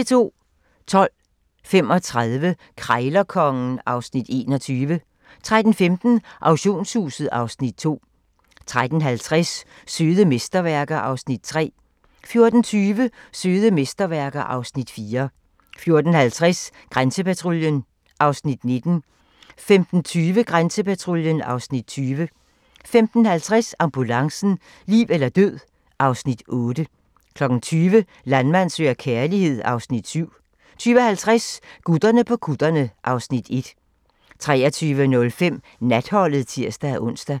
12:35: Krejlerkongen (Afs. 21) 13:15: Auktionshuset (Afs. 2) 13:50: Søde mesterværker (Afs. 3) 14:20: Søde mesterværker (Afs. 4) 14:50: Grænsepatruljen (Afs. 19) 15:20: Grænsepatruljen (Afs. 20) 15:50: Ambulancen - liv eller død (Afs. 8) 20:00: Landmand søger kærlighed (Afs. 7) 20:50: Gutterne på kutterne (Afs. 1) 23:05: Natholdet (tir-ons)